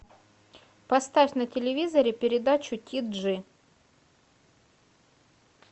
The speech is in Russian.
поставь на телевизоре передачу ти джи